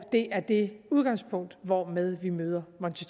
det er det udgangspunkt hvormed vi møder monti